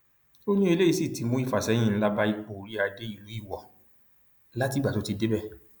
ó ní eléyìí sì ti mú ìfàsẹyìn ńlá bá ipò oríadé ìlú iwọ látìgbà tó ti débẹ